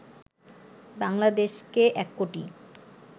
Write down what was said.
বাংলাদেশকে ১ কোটি